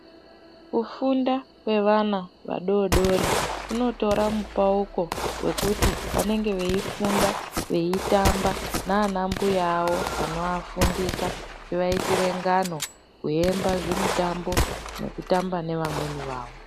Kufunda kwevana vadoodori kunotora mupauko wekuti vanenge veifunda, veitamba nana mbuya awo anoafundisa ,achiaitire ngano, kuimba zvimutambo nekutamba neamweni awo.